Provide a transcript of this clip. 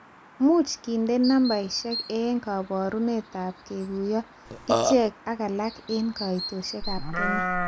Much kindena nambeshek eng kabarunetab kekuyo ichek ak alak eng kaitosheab Kenya